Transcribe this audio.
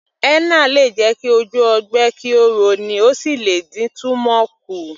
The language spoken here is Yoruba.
Henna lè jẹ ki ojú ogbe kí ó rọ ní, ó sì lè dín túmọ̀ kù